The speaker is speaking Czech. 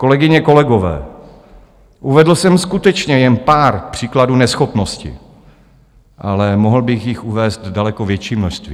Kolegyně, kolegové, uvedl jsem skutečně jen pár příkladů neschopnosti, ale mohl bych jich uvést daleko větší množství.